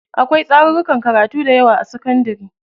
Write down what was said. Akwai tsarurrukan karatu dayawa a sakandari.